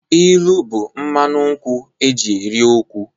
Ilu bụ mmanụ nkwụ e ji eri okwu.